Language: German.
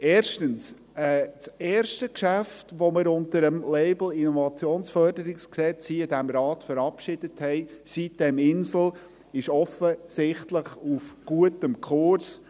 Erstens ist das erste Geschäft, welches wir in diesem Rat unter dem Label IFG, Sitem-insel verabschiedet haben, ist offensichtlich auf gutem Kurs.